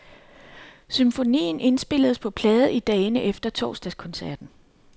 Symfonien indspilles på plade i dagene efter torsdagskoncerten.